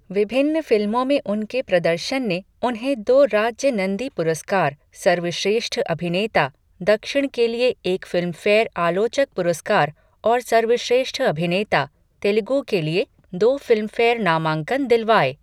विभिन्न फिल्मों में उनके प्रदर्शन ने उन्हें दो राज्य नंदी पुरस्कार, सर्वश्रेष्ठ अभिनेता, दक्षिण के लिए एक फ़िल्मफ़ेयर आलोचक पुरस्कार और सर्वश्रेष्ठ अभिनेता, तेलुगू के लिए दो फ़िल्मफ़ेयर नामांकन दिलवाए।